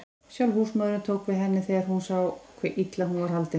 Sjálf húsmóðirin tók við henni þegar hún sá hve illa hún var haldin.